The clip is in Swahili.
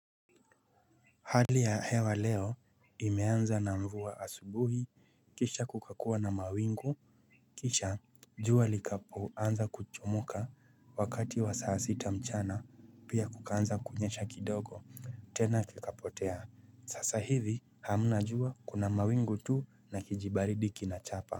Hali ya hewa leo imeanza na mvua asubuhi kisha kukakuwa na mawingu kisha jua likapo anza kuchomoka wakati wa saa sita mchana pia kukaanza kunyesha kidogo tena likapotea. Sasa hivi hamna jua kuna mawingu tu na kijibaridi kinachapa.